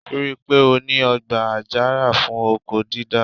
Ri pé ó ní ọgbà àjàrà fún oko dídá?